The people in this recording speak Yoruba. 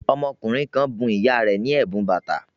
Ọmọkùnrin kan bun ìyá rẹ̀ ní ẹ̀bùn bàtà